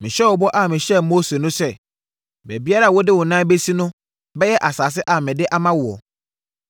Mehyɛ wo bɔ a mehyɛɛ Mose no sɛ, baabiara a wode wo nan bɛsi no bɛyɛ asase a mede ama woɔ.